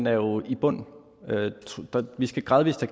er jo i bund vi skal gradvist